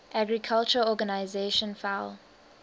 agriculture organization fao